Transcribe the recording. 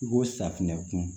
I ko safinɛ kun